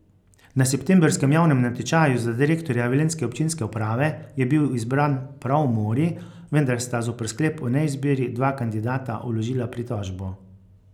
Na septembrskem javnem natečaju za direktorja velenjske občinske uprave je bil izbran prav Mori, vendar sta zoper sklep o neizbiri dva kandidata vložila pritožbo.